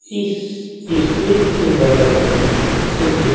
इस स्टेज के बगल में एक व्य--